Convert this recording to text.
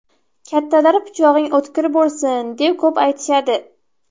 Kattalar pichog‘ing o‘tkir bo‘lsin, deb ko‘p aytishadi.